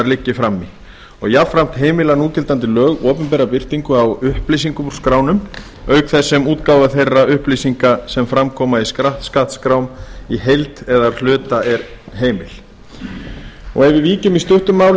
liggi frammi jafnframt heimila núgildandi lög opinbera birtingu á upplýsingum úr skránum auk þess sem útgáfa þeirra upplýsinga sem fram koma í skattskrám í heild eða hluta er heimil ef við víkjum í stuttu máli